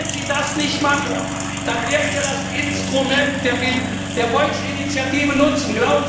Und wenn Sie das nicht machen, dann werden wir das Instrument der Volksinitiative nutzen.